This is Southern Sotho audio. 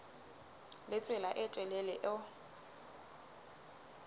le tsela e telele eo